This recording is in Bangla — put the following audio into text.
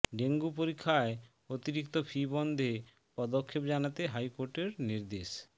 ডেঙ্গু পরীক্ষায় অতিরিক্ত ফি বন্ধে পদক্ষেপ জানাতে হাইকোর্টের নির্দেশ